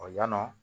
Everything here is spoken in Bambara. yannɔn